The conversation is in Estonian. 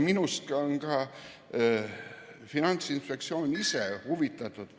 Minu arust on ka Finantsinspektsioon ise huvitatud ...